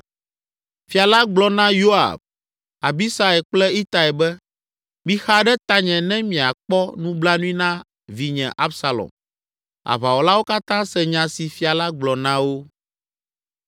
Fia la gblɔ na Yoab, Abisai kple Itai be, “Mixa ɖe tanye ne miakpɔ nublanui na vinye Absalom.” Aʋawɔlawo katã se nya si fia la gblɔ na wo.